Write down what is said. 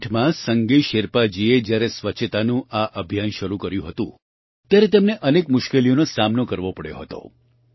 વર્ષ 2008માં સંગે શેરપાજીએ જ્યારે સ્વચ્છતાનું આ અભિયાન શરૂ કર્યું હતું ત્યારે તેમને અનેક મુશ્કેલીઓનો સામનો કરવો પડ્યો હતો